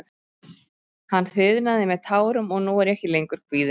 Hann þiðnaði með tárum og nú er ég ekki lengur kvíðinn.